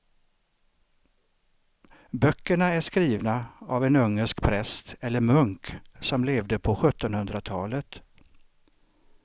Böckerna är skrivna av en ungersk präst eller munk som levde på sjuttonhundratalet.